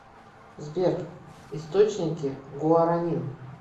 сбер источники гуаранин